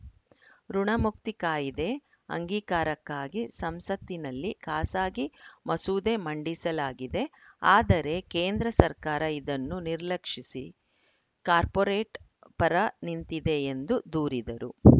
ಋುಣಮುಕ್ತಿ ಕಾಯಿದೆ ಅಂಗೀಕಾರಕ್ಕಾಗಿ ಸಂಸತಿನಲ್ಲಿ ಖಾಸಗೀ ಮಸೂದೆ ಮಂಡಿಸಲಾಗಿದೆ ಆದರೆ ಕೇಂದ್ರ ಸರ್ಕಾರ ಇದನ್ನು ನಿರ್ಲಕ್ಷಿಸಿ ಕಾರ್ಪೊರೇಟ್‌ ಪರ ನಿಂತಿದೆ ಎಂದು ದೂರಿದರು